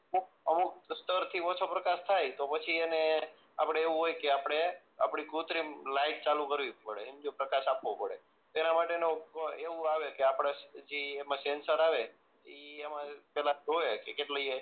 કોક અમુક સીસ્ટમ થી ઓછો પ્રકાશ થાય તો પછી એને આપણે એવું હોય કે આપણે આપણી કુત્રિમ લાઈટ ચાલુ કરવી પડે હમજ્યો પ્રકાશ આપવો પડે તેના માટે માં એવું આવે કે જી સેન્સર આવે એ એમાં પેલા જોવે કે કેટલી એ